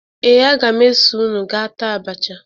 Ee, aga m eso unu gaa taa abacha